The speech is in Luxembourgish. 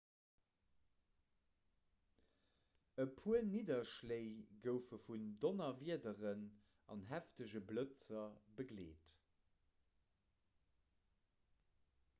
e puer nidderschléi goufe vun donnerwiederen an heefege blëtzer begleet